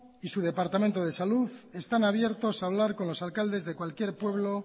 y su departamento de salud están abiertos a hablar con los alcaldes de cualquier pueblo